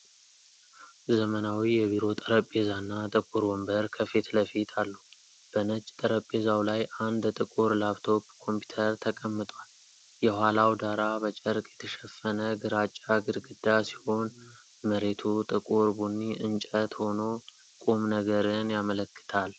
ዘመናዊ የቢሮ ጠረጴዛና ጥቁር ወንበር ከፊት ለፊት አሉ። በነጭ ጠረጴዛው ላይ አንድ ጥቁር ላፕቶፕ ኮምፒውተር ተቀምጧል። የኋላው ዳራ በጨርቅ የተሸፈነ ግራጫ ግድግዳ ሲሆን መሬቱ ጥቁር ቡኒ እንጨት ሆኖ ቁምነገርን ያመለክታል።